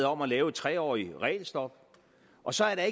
om at lave et tre årig t regelstop og så er